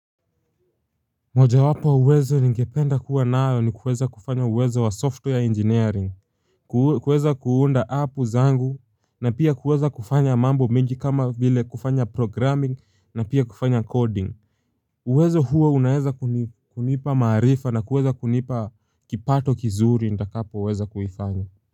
Moja wapo wa uwezo ningependa kuwa nayo ni kuweza kufanya uwezo wa software engineering, kuweza kuunda app zangu, na pia kuweza kufanya mambo mingi kama vile kufanya programming na pia kufanya coding. Uwezo huo unaeza kunipa maarifa na kuweza kunipa kipato kizuri ndakapo weza kufanya.